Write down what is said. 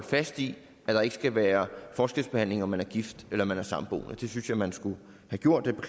fast i at der ikke skal være forskelsbehandling om man er gift eller samboende det synes jeg man skulle have gjort